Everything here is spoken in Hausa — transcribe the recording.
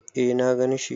Eh na gan shi.